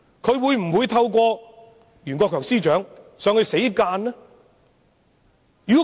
她會否透過袁國強司長向內地作出死諫？